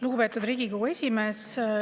Lugupeetud Riigikogu esimees!